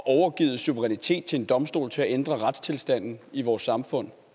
overgivet suverænitet til en domstol til at ændre retstilstanden i vores samfund